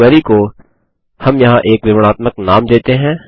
अपनी क्वेरी को हम यहाँ एक विवरणात्मक नाम देते हैं